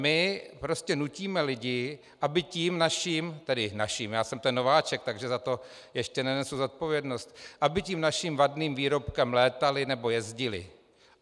My prostě nutíme lidi, aby tím naším - tedy naším, já jsem ten nováček, takže za to ještě nenesu zodpovědnost - aby tím naším vadným výrobkem létali nebo jezdili.